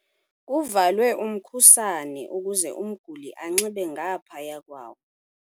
Kuvalwe umkhusane ukuze umguli anxibe ngaphaya kwawo.